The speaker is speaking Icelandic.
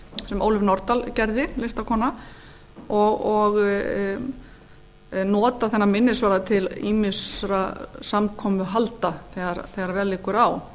sem ólöf nordal listakona gerði og nota þennan minnisvarða til ýmissa samkomuhalda þegar vel liggur á